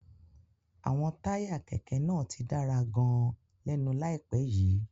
Àwọn táyà kẹ̀kẹ́ náà ti dára gan-an lẹ́nu àìpẹ́ yìí.